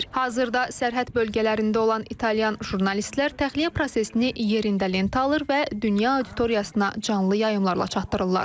Hazırda sərhəd bölgələrində olan İtalyan jurnalistlər təxliyə prosesini yerində lentə alır və dünya auditoriyasına canlı yayımlarla çatdırırlar.